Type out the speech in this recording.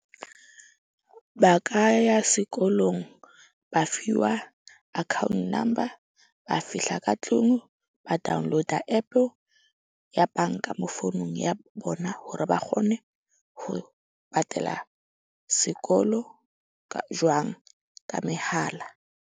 Ba ka ya sekolong ba fiwa account number. Ba fihla ka tlung ba download-a App-e ya banka mo founung ya bona hore ba kgone ho patala sekolo jwang ka mehala.